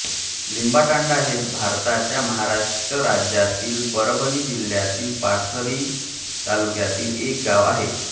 लिंबातांडा हे भारताच्या महाराष्ट्र राज्यातील परभणी जिल्ह्यातील पाथरी तालुक्यातील एक गाव आहे